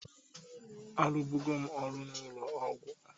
Arụbụgo m ọrụ n'ụlọ ọgwọ